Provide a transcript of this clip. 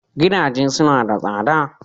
Gidaje suna da tsada